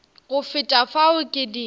go feta fao ke di